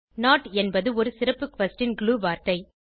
note என்பது ஒரு சிறப்பு குயஸ்ஷன் glue வார்த்தை